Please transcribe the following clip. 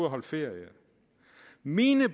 at holde ferie mine